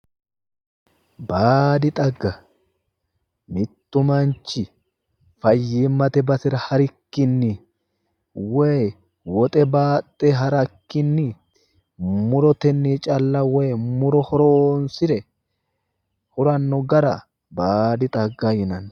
Baadi xagga mittu manchi fayyimmate basera harikkinni woyi wixe baaxxe harikkinni murotenni calla woyi muro horonsire huranno gara baadi xagga yinanni